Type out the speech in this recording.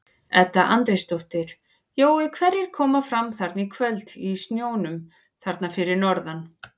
Edda Andrésdóttir: Jói hverjir koma fram þarna í kvöld í snjónum þarna fyrir norðan?